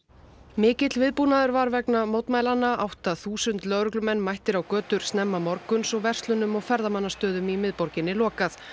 mikill viðbúnaður var vegna mótmælanna átta þúsund lögreglumenn mættir á götur snemma morguns og verslunum og ferðamannastöðum í miðborginni lokað